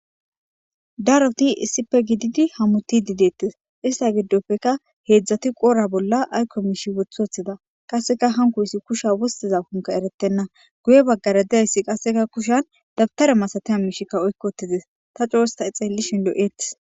daroti issipe gididi hamuti dideettes ista giddopfeka heedzdzati qoora bolla ayko miishi woth woththida qasseka hankoyssi kusha wostiza konka erettenna guye baggara diyayssi qasseka kushan dabtare masateya miishikka oykkotizes ta coosta xeelli shinlo7eeti